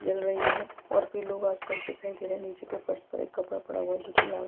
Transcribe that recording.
जल रही हैं और कुछ लोग आसपास दिखाई दे रहे हैं नीचे के फर्श पर एक कपड़ा पड़ा हुआ है जो की लाल --